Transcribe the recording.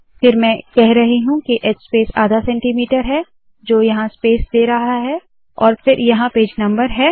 फिर मैं कह रही हूँ के h स्पेस आधा सेंटीमीटर है जो यहाँ स्पेस दे रहा है और फिर यहाँ पेज नम्बर है